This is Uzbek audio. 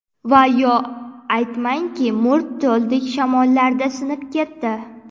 Va yo aytmangki, mo‘rt toldek, Shamollarda sinib ketdi.